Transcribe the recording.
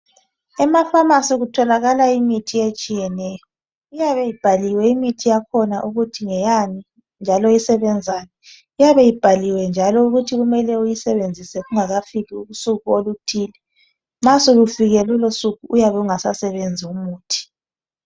Emafamasi kutholakala imithi etshiyeneyo, iyabe ibhaliwe imithi yakhona ukuthi ngeyani njalo isebenzani. Iyabe ibhaliwe njalo ukuthi kumele uyisebenzisa kungakafiki usuku oluthile nxa solufikile lolosuku .Uyabe ungasasebenzi umuthi .